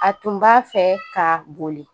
A tun b'a fɛ ka boli